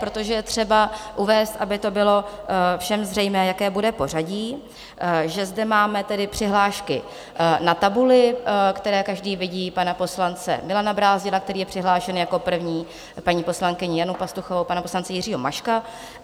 Protože je třeba uvést, aby to bylo všem zřejmé, jaké bude pořadí, že zde máme tedy přihlášky na tabuli, které každý vidí, pana poslance Milana Brázdila, který je přihlášen jako první, paní poslankyni Janu Pastuchovou, pana poslance Jiřího Maška.